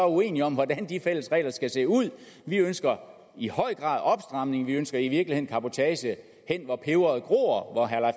uenige om hvordan de fælles regler skal se ud vi ønsker i høj grad en opstramning vi ønsker i virkeligheden cabotage hen hvor peberet gror hvor herre